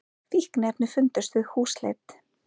Fíkniefni fundust við húsleit